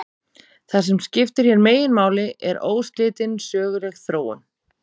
Það sem skiptir hér meginmáli er óslitin söguleg þróun.